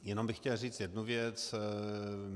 Jenom bych chtěl říct jednu věc.